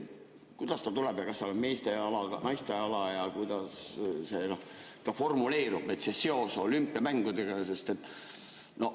Kuidas see tuleb ja kas seal on meeste ala ja naiste ala ja kuidas see formuleerub, see seos olümpiamängudega?